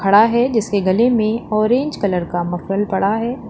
खड़ा है जिसके गले में ऑरेंज कलर का मक्कल पड़ा है।